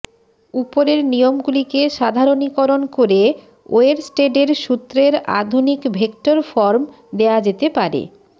উপরের নিয়মগুলিকে সাধারণীকরণ করে ওয়েরস্টেডের সূত্রের আধুনিক ভেক্টর ফর্ম দেওয়া যেতে পারে